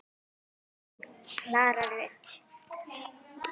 Þín Klara Rut.